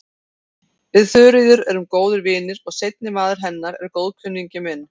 Við Þuríður erum góðir vinir og seinni maður hennar er góðkunningi minn.